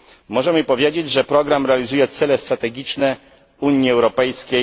Możemy powiedzieć, że program realizuje cele strategiczne Unii Europejskiej